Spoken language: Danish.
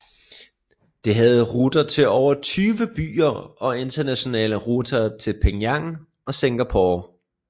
Det havde ruter til over 20 byer og internationale ruter til Penang og Singapore